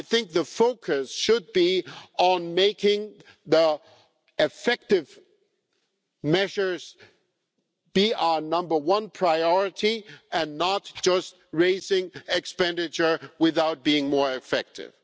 The focus should be on making effective measures our number one priority and not just raising expenditure, without being more effective.